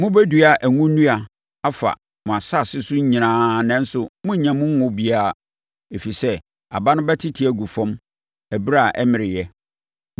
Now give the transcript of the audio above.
Mobɛdua ngo nnua afa mo nsase so nyinaa nanso monnnya mu ngo biara, ɛfiri sɛ, aba no bɛte agu fam ɛberɛ a ɛmmereɛ.